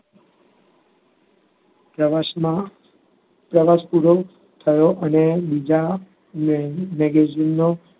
પ્રવાસમાં, પ્રવાસ પૂરો થયો અને બીજા magazine